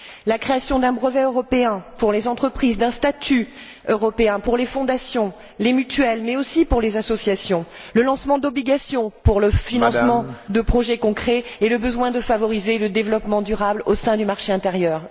la création d'un brevet européen pour les entreprises, d'un statut européen pour les fondations, les mutuelles, mais aussi pour les associations, le lancement d'obligations pour le financement de projets concrets et le besoin de favoriser le développement durable au sein du marché intérieur.